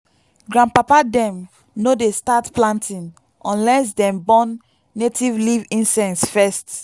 grandpapa dem no dey start planting unless dem burn native leaf incense first.